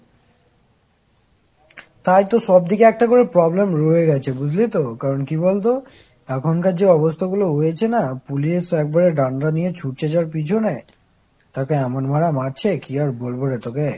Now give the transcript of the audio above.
তাই তো সব দিকে একটা করে problem রয়ে গেছে বুঝলি তো কারণ কি বলতো এখন কার যে অবস্থা গুলো হয়েছে না, police একেবারে ডান্ডা নিয়ে ছুটছে যার পিছনে তাকে এমন মারা মারছে কি আর বলবোরে তোকে